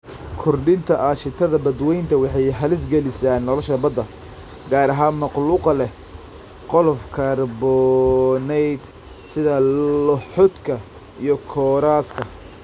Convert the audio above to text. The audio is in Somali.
Kordhinta aashitada badweynta waxay halis gelisaa nolosha badda, gaar ahaan makhluuqa leh qolof kaarboonaydh, sida lohodka iyo kooraska.